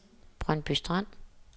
Brøndby Strand